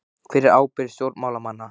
Hver er ábyrgð stjórnmálamanna?